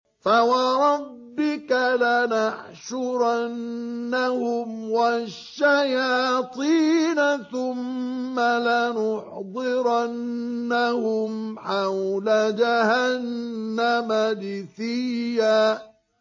فَوَرَبِّكَ لَنَحْشُرَنَّهُمْ وَالشَّيَاطِينَ ثُمَّ لَنُحْضِرَنَّهُمْ حَوْلَ جَهَنَّمَ جِثِيًّا